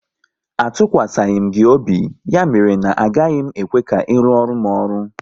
A tụkwasịghi m gị obi, ya mere na agaghị m ekwe ka ị ruoru m ọrụ!